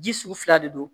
Ji sugu fila de don